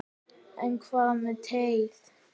En hvað með teið?